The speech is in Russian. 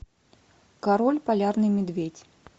король полярный медведь